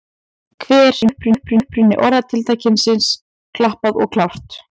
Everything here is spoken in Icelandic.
Hver er uppruni orðatiltækisins klappað og klárt?